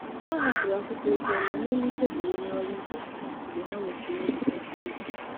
Ha hapụrụ akwụkwọ ozi dị mma n’elu tebụl onye ọrụ ibe ha mgbe nzukọ mgbe nzukọ siri ike gasịrị.